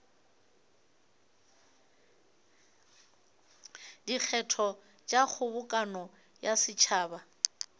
dikgetho tša kgobokano ya setšhaba